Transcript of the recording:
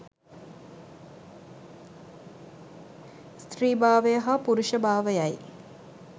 ස්ත්‍රී භාවය හා පුරුෂ භාවයයි